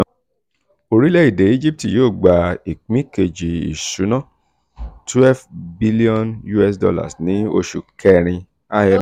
orílẹ̀-èdè egypt yóò gba ìpín kejì ìsúná $12bn ní oṣù kẹrin - imf